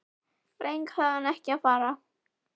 Hrund: En þú fylgdist nánar með málinu í dag?